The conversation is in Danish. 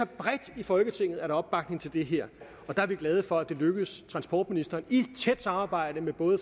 bredt i folketinget opbakning til det her og der er vi glade for at det lykkedes transportministeren i tæt samarbejde med både